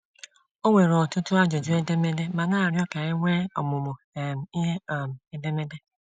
Ọ nwere ọtụtụ ajụjụ edemede ma na-arịọ ka e nwee ọmụmụ um ihe um edemede.